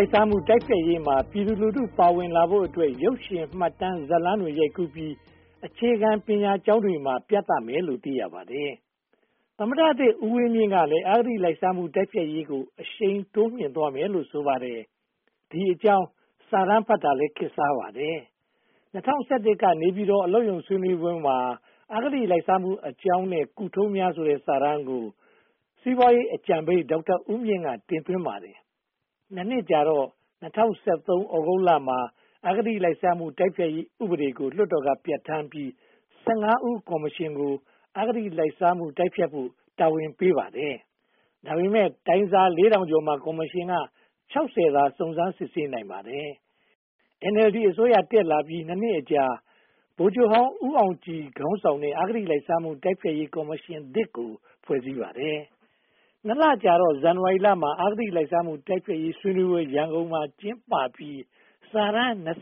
ိုက်စားမှု တိုက်ဖျက်ရေးမှာ ပြည်သူလူထုပါဝင်လာဖို့အတွက် ရုပ်ရှင်၊ မှတ်တမ်း၊ ဇာတ်လမ်းတွေ ရိုက်ကူးပြီး အခြေခံပညာကျောင်းတွေမှာ ပြသမယ်လို့ သိရပါတယ်။ သမ္မတသစ်ဦးဝင်းမြင့်ကလည်း အဂတိလိုက်စားမှုတိုက်ဖျက်ရေးကို အရှိန်တိုးမြှင့်သွားမယ်လို့ ဆိုပါတယ်။ ဒီအကြောင်း စာတမ်းဖတ်တာလည်း ခေတ်စားပါတယ်။ ၂၀၁၁ က နေပြည်တော်အလုပ်ရုံဆွေးနွေးပွဲမှာ အဂတိလိုက်စားမှုအကြောင်းနဲ့ ကုထုံးများ ဆိုတဲ့ စာတမ်းကို စီးပွားရေးအကြံပေး ဒေါက်တာဦးမြင့်က တင်သွင်းပါတယ်။ (၂) နှစ်ကြာတော့ ၂၀၁၃ သြဂုတ်မှာ အဂတိလိုက်စားမှု တိုက်ဖျက်ရေးဥပဒေကို လွှတ်တော်က ပြဌာန်းပြီး (၁၅) ဦး ကော်မရှင်ကို အဂတိလိုက်စားမှုတိုက်ဖျက်ဖို့ တာဝန်ယူပေးပါတယ်။ ဒါပေမဲ့ တိုင်စာ (၄၀၀၀) ကျော်မှာ ကော်မရှင်က (၆၀) သာ စုံစမ်းစစ်ဆေးနိုင်ပါတယ်။ NLD အစိုးရတက်လာပြီး (၂) နှစ်အကြာ ဗိုလ်ချုပ်ဟောင်း ဦးအောင်ကြည်ခေါင်းဆောင်တဲ့ အဂတိလိုက်စားမှု တိုက်ဖျက်ရေးကော်မရှင်သစ် ဖွဲ့စည်းပါတယ်။ (၂) လကြာတော့ ဇန်နဝါရီမှာ အဂတိလိုက်စားမှု တိုက်ဖျက်ရေး ဆွေးနွေးပွဲ ရန်ကုန်မှာ ကျင်းပပြီး စာတမ်း (၂၇)